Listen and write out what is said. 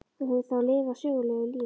Þú hefur þá lifað sögulegu lífi?